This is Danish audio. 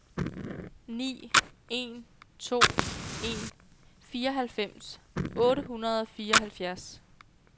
ni en to en fireoghalvfems otte hundrede og fireoghalvfjerds